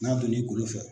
N'a donn'i bolo fɛ